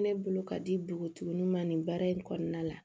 Ne bolo ka di npogotiginin ma nin baara in kɔnɔna la